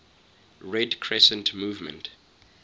red crescent movement